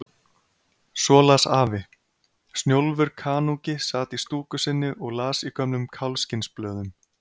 Svo las afi: Snjólfur kanúki sat í stúku sinni og las í gömlum kálfskinnsblöðum.